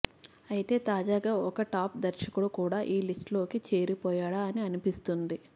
అయితే తాజాగా ఒక టాప్ దర్శకుడు కూడా ఈ లిస్ట్ లోకి చేరిపోయాడా అని అనిపిస్తుంది